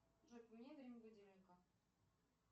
джой поменяй время будильника